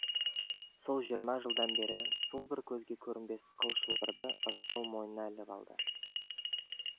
сол жиырма жылдан бері сол бір көзге көрінбес қыл шылбырды рысқұл мойнына іліп алды